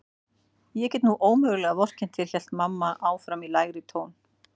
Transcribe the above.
Ég get nú ómögulega vorkennt þér hélt mamma áfram í lægri tón.